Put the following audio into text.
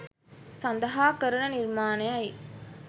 සඳහා කරන නිර්මාණය යි